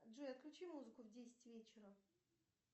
джой отключи музыку в десять вечера